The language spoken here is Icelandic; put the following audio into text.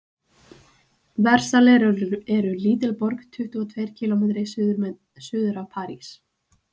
versalir er lítil borg tuttugu og tveir kílómetri suður af parís